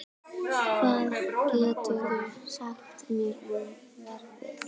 Ívar, hvað geturðu sagt mér um veðrið?